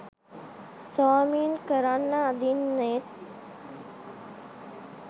swimming කරන්න අඳින්නෙත්